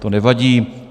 To nevadí.